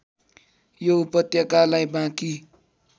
यो उपत्यकालाई बाँकी